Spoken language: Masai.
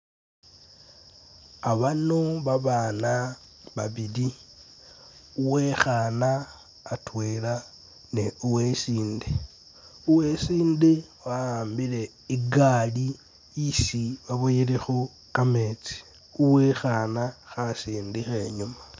Abano babana babili uwekhana atwela ne uwesinde, uwesinde wa'ambile igaali isi baboyelekho kametsi uwekhana khasindikha inyuma